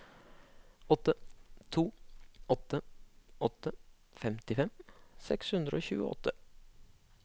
åtte to åtte åtte femtifem seks hundre og tjueåtte